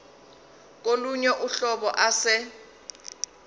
kolunye uhlobo ase